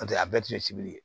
N'o tɛ a bɛɛ tun ye sibiri ye